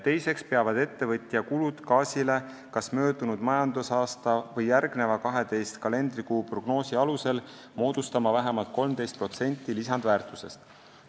Teiseks peavad ettevõtja kulud gaasile kas möödunud majandusaasta või järgneva 12 kalendrikuu prognoosi alusel moodustama vähemalt 13% lisandväärtusest.